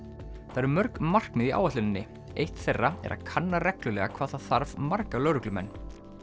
það eru mörg markmið í áætluninni eitt þeirra er að kanna reglulega hvað það þarf marga lögreglumenn